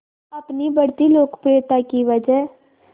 अपनी बढ़ती लोकप्रियता की वजह